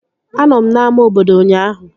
Anọ m n'ámá obodo ụnyaahụ